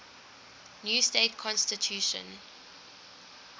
new state constitution